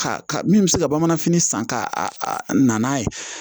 Ka ka min bɛ se ka bamananfini san ka na n'a ye